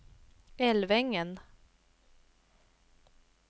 Älvängen